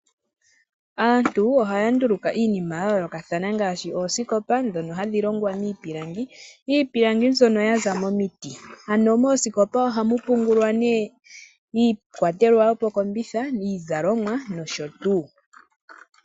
Aantu ohaya nduluka iinima yayoolokathana ngaashi oosikopa dhono hadhi longwa miipilangi, iipilangi mbyono ya za momiti, ano oosikopa ohamu pungulwa iikwatelwa yomokombitha, iizalomwa nosho tuu.